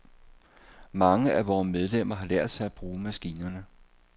Mange af vore medlemmer har lært sig at bruge maskinerne.